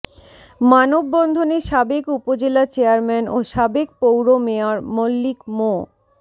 মানববন্ধনে সাবেক উপজেলা চেয়ারম্যান ও সাবেক পৌর মেয়র মল্লিক মো